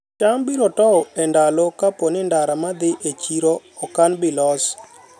cham biro tow e ndalo kapo ni ndara madhi e chiro okan bilos